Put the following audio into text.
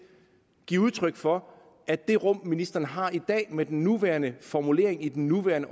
give udtryk for at det rum ministeren har i dag med den nuværende formulering i den nuværende